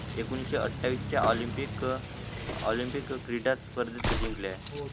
एकोणीशे आठवीच्या ऑलिम्पिक अं ऑलिम्पिक क्रीडा स्पर्धेत जिंकलेय